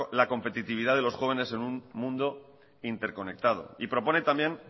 la competitividad de los jóvenes en un mundo interconectado y propone también